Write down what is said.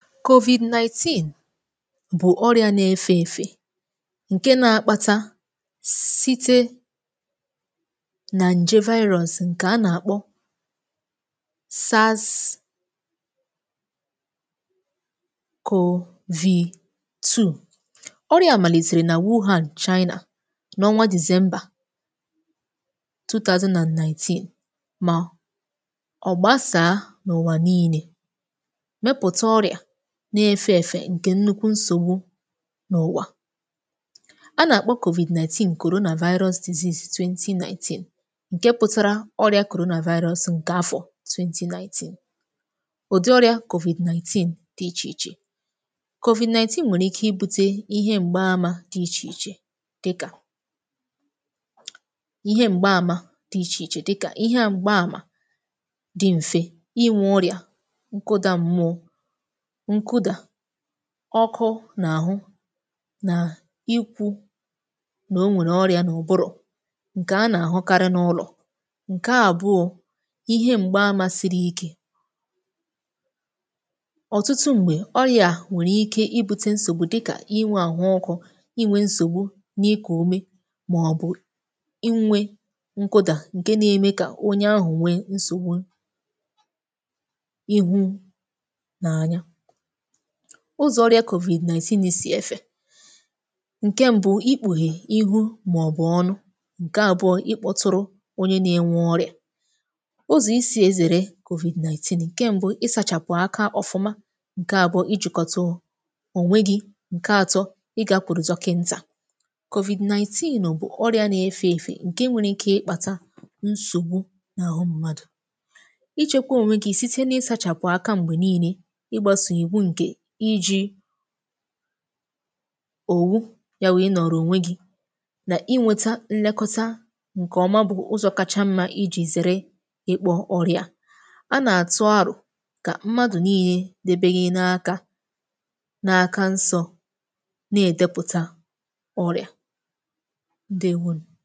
Covid Ninteen bụ̀ ọrịa na-efè èfè, ǹke nȧ-ȧkpȧtȧ site nà ǹje Virus ǹkè a nà-àkpọ Covid Two. Ọrịa a malitere na Wughaṅ, China, nà ọnwa December Two Thousand and Ninteen, mà ọ̀ gbasàà n’ụ̀wà niile, wéputa ọrịa na-efè èfè ǹkè nnukwu nsògbu n’ụ̀wà. A nà-àkpọ Covid-Ninteen, Corona Virus Disease, Twenty Ninteen, ǹke pụtara ọrịa Corona Virus ǹkè afọ̀ Twenty Ninteen. Ụ̀dị ọrịa Covid Ninteen dị iche iche. Covid Ninteen nwèrè ike ibu̇tė ihe m̀gbaamȧ dị iche iche dịkà: ihe m̀gbaamȧ dị mfe, ịnwụ̇, ọrịa nkụdȧ m̀mụọ, nkụdà ọkụ n’àhụ, nà ikwu nà o nwèrè ọrị̀a n’òbụ̀rụ̀ ǹkè a nà-àhụkarị n’ụlọ̀. Ǹkè Àbụọ̇, ihe m̀gbè àmasịrị ike ọ̀tụtụ m̀gbè ọrịa nwèrè ike ibu̇tė nsògbu dịkà inwė àhụ ọkụ̇, inwė nsògbu n’ikù ume, màọbụ̀ inwė nkụdà ǹkè na-eme kà onye ahụ̀ nwe nsògbu ihu nà ányá. Ụzọ̀ ọrịa Covid-Ninteen na-esì efè: ǹkè Mbụ̀, ikpuhè ihu màọ̀bụ̀ ọnụ; ǹkè Àbụọ, ịkpọtụrụ onye na-enwe ọrịa. Ụzọ̀ esi zèrè Covid Ninteen: n’ǹkè Mbụ̀, ị sachàpụ̀ aka ọfụma; ǹkè Àbụọ, ijìkọ̀tu ònwe gị; ǹkè Àtọ, ị gakwuru dọkìntà. Covid Ninteen bụ̀ ọrịa na-efè èfè ǹkè nwere ike ịkpàtà nsògbu n’àhụ mmadụ̀. Ịchėkwė ònweghị̇ site n’ị sachàpụ̀ aka m̀gbè niile, igbasa iwu nke iji̇ òwu ya wụ̀, ịnọ̀rọ̀ ònwe gị nà inwėta nlekọta ǹkè ọma, bụ̀ ụzọ̇ kacha mmȧ ijì zèrè ịkpọ̇ ọrịa. A nà-àtụ aro kà mmadụ̀ niile debe gị na-aka na-aka nsọ̇, nà-èdepụ̀ta ọrịa Ǹdeewònù.